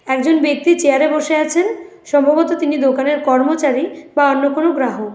একজন ব্যক্তি চেয়ারে বসে আছেন সম্ভবত তিনি দোকানের কর্মচারী বা অন্য কোন গ্রাহক।